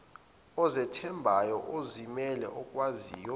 ozethembayo ozimele okwaziyo